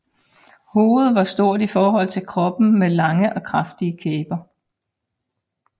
Hovedet var stort i forhold til kroppen med lange og kraftige kæber